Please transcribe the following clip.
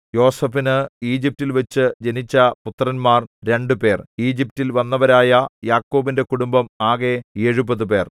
യോസേഫിനു ഈജിപ്റ്റിൽവച്ചു ജനിച്ച പുത്രന്മാർ രണ്ടുപേർ ഈജിപ്റ്റിൽ വന്നവരായ യാക്കോബിന്റെ കുടുംബം ആകെ എഴുപത് പേർ